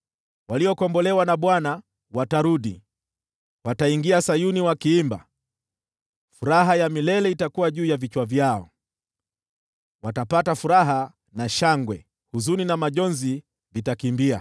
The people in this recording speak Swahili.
waliokombolewa na Bwana watarudi. Wataingia Sayuni wakiimba; furaha ya milele itakuwa juu ya vichwa vyao. Watapata furaha na shangwe; huzuni na majonzi vitakimbia.